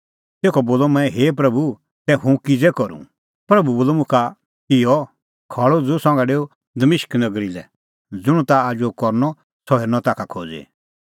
तेखअ बोलअ मंऐं हे प्रभू तै हुंह किज़ै करूं प्रभू बोलअ मुखा इहअ खल़अ उझ़ू संघा डेऊ दमिश्क नगरी लै ज़ुंण ताह आजू करनअ सह हेरनअ ताखा खोज़ी